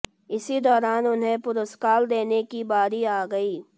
इसी दौरान उन्हें पुरस्कार देने की बारी आ गई